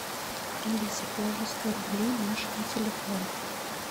алиса положи сто рублей маше на телефон